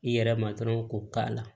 I yɛrɛ ma dɔrɔn k'o k'a la